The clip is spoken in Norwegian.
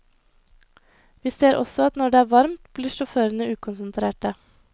Vi ser også at når det er varmt, blir sjåførene ukonsentrerte.